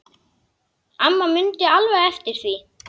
Amma mundi alveg eftir því.